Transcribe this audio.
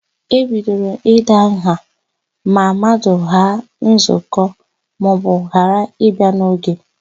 E bidoro ịda nha ma mmadụ ghaa nzụkọ maọbụ ghara ịbịa n'oge.